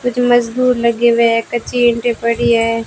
कुछ मजदूर लगे हुए हैं कच्ची ईंटें पड़ी है।